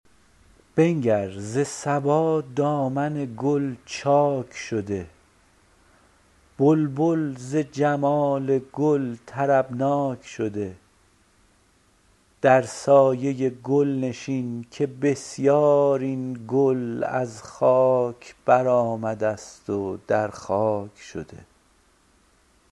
بنگر ز صبا دامن گل چاک شده بلبل ز جمال گل طربناک شده در سایه گل نشین که بسیار این گل از خاک برآمده است و در خاک شده